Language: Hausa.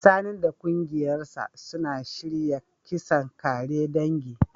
Sani da kungiyarsa suna shirya kisan kare dangi.